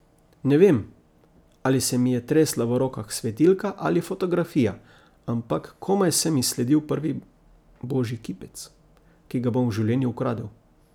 Ne vem, ali se mi je tresla v rokah svetilka ali fotografija, ampak komaj sem izsledil prvi božji kipec, ki ga bom v življenju ukradel.